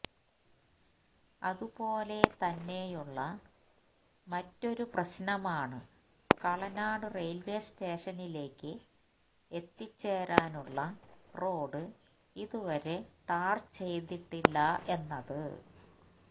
അതുപോലെതന്നെയുള്ള മറ്റൊരു പ്രശ്നമാണ് കളനാട് റെയിൽവേ സ്റ്റേഷനിലേക്ക് എത്തിച്ചേരാനുള്ള റോഡ് ഇതുവരെ ടാർചെയ്തിട്ടില്ല എന്നത്